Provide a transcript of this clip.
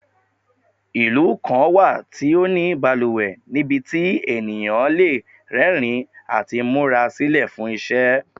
Ilu kan wa ti o ni baluwe nibiti eniyan le rẹrin ati mura silẹ fun iṣẹ